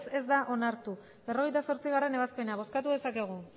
ez da onartu berrogeita zortzigarrena ebazpena bozkatu dezakegu